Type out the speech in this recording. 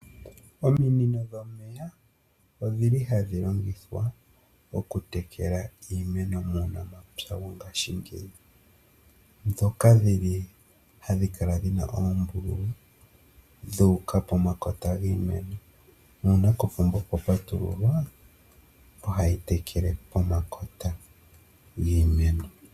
Ominino dhomeya, odhili hadhi longithwa okutekela iimeno muunamapya wongashingeyi. Ohadhi kala dhina oombululu, dhu uka pomakota giimeno, nuuna kopomba kwa patululwa, ohadhi tekele pomakota giimeno